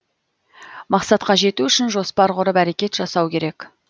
мақсатқа жету үшін жоспар құрып әрекет жасау керек